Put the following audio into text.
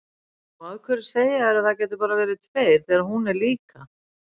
Og af hverju segja þeir að það geti bara verið tveir þegar hún er líka?